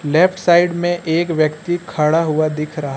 left side में एक व्यक्ति खड़ा हुआ दिख रहा--